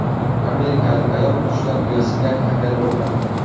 Amerikalik ayol qushlar uyasiga kamera o‘rnatdi.